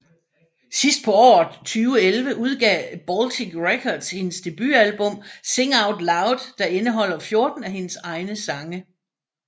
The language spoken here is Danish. Sidst på året 2011 udgav Baltic Records hendes debutalbum Sing Out Loud der indeholder 14 af hendes egne sange